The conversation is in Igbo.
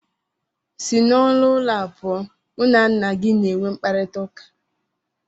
Si n'ọnụ ụlọ a pụọ, mụ na nna gị na-enwe mkparịtaụka!!!